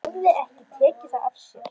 Hún hafði ekki tekið það af sér.